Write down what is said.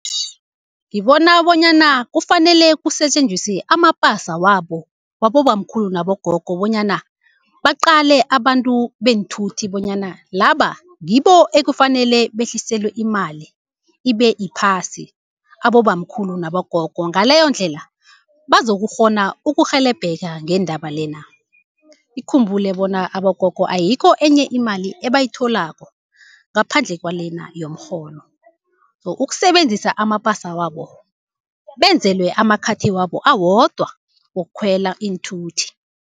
Ngibona bonyana kufanele kusetjenziswe amapasa wabo wabobamkhulu nabogogo, bonyana baqale abantu beenthuthi bonyana laba ngibo ekufanele behliselwe imali ibe phasi abobamkhulu nabogogo. Ngaleyondlela bazokukghona ukurhelebheka ngendaba lena. Ukhumbule bona abogogo ayikho enye imali ebayitholako ngaphandle kwalena yomrholo. So, ukusebenzisa amapasa wabo benzelwe amakhathi wabo awodwa wokukhwela Iinthuthi.